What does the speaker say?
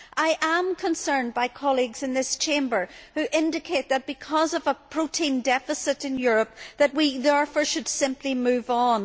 I am concerned by colleagues in this Chamber who indicate that, because of a protein deficit in Europe, we should therefore simply move on.